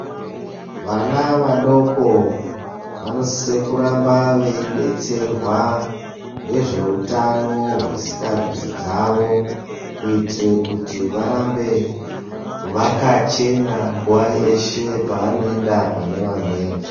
Vana vadoko vanosise kuramba veidetserwa ngezvehutano hwezvesikarudzi dzavo kuitire kuti varambe vakachena nguva yeshe pavanoenda pane vamweni.